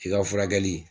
I ka furakɛli